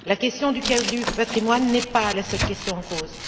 La question du patrimoine n'est pas la seule question en cause.